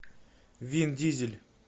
вин дизель